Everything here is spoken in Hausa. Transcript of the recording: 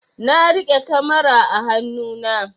Na riƙe kamara a hanu na